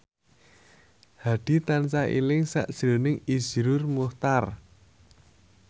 Hadi tansah eling sakjroning Iszur Muchtar